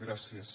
gràcies